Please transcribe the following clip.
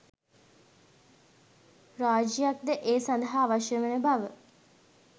රාජ්‍යයක්ද ඒ සඳහා අවශ්‍ය වන බව